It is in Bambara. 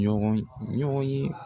Ɲɔgɔnye ɲɔgɔnye